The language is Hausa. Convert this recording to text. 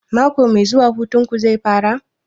Mako mai zuwa hutun ku zai fara?